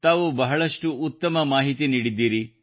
ತಾವು ಬಹಳಷ್ಟು ಉತ್ತಮ ಮಾಹಿತಿ ನೀಡಿದ್ದೀರಿ